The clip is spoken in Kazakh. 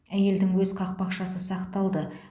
әйелдің өз қақпақшасы сақталды